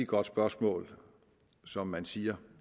godt spørgsmål som man siger